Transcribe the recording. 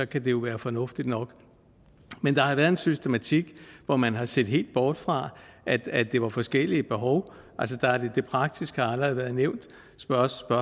kan det jo være fornuftigt nok men der har været en systematik hvor man har set helt bort fra at det var forskellige behov det praktiske har allerede været nævnt spørgsmål